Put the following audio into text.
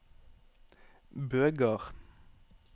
Bøgard